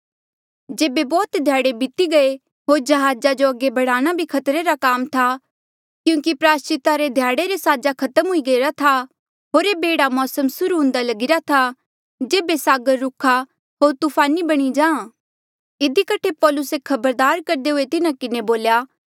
जेबे बौह्त ध्याड़े बीती गये होर जहाजा जो अगे बढ़ाणा भी खतरे रा काम था क्यूंकि प्रायस्चिता रे ध्याड़े रे साजा खत्म हुई गईरा था होर ऐबे एह्ड़ा मौसम सुर्हू हुंदा लगिरा था जेबे सागर रुखा होर तूफानी बणी जा था इधी कठे पौलुसे खबरदार करदे हुए तिन्हा किन्हें बोल्या